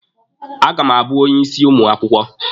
A ga m abụ onye isi ụmụ akwụkwọ.